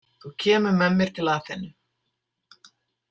Þú kemur með mér til Aþenu.